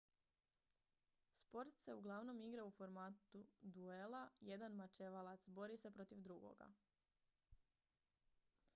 sport se uglavnom igra u formatu duela jedan mačevalac bori se protiv drugoga